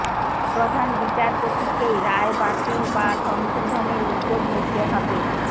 প্রধান বিচারপতিকেই রায় বাতিল বা সংশোধনের উদ্যোগ নিতে হবে